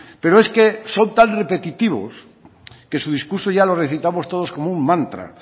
pero es que son tan repetitivos que su discurso ya lo recitamos todos como un mantra